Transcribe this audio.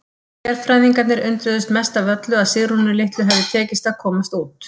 Sérfræðingarnir undruðust mest af öllu að Sigrúnu litlu hefði tekist að komast út.